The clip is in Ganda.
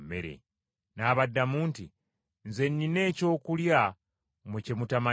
N’abaddamu nti, “Nze nnina ekyokulya mmwe kye mutamanyi.”